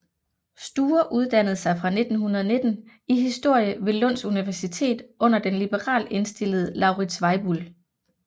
Sture uddannede sig fra 1919 i historie ved Lunds universitet under den liberalt indstillede Lauritz Weibull